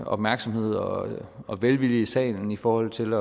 opmærksomhed og og velvillighed i salen i forhold til